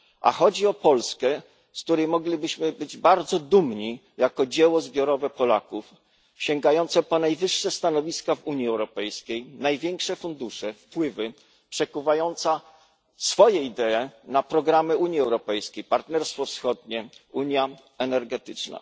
A chodzi o Polskę, z której moglibyśmy być bardzo dumni jako z dzieła zbiorowego Polaków, sięgającego po najwyższe stanowiska w Unii Europejskiej, największe fundusze, wpływy, przekuwającego swoje idee na programy Unii Europejskiej, jak Partnerstwo Wschodnie, unia energetyczna.